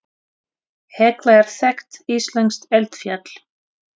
Hekla er þekkt íslenskt eldfjall.